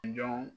Jɔn